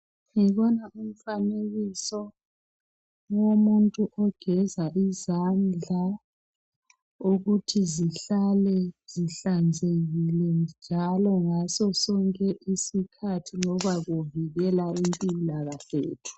Ngibona umfanekiso womuntu ogeza izandla ukuthi zihlale zihlanhlekile ngaso sonke isikhathi ngoba kuvikela impilakahle yethu.